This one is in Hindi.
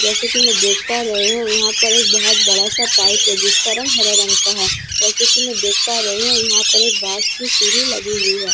जैसे की मैं देख पा रही हूँ यहाँ पर एक बहुत बड़ा सा पाइप है जिसका रंग हरे रंग का है जैसा की मैं देख पा रही हूँ यहाँ पर एक बांस की सीढ़ी लगी हुई है।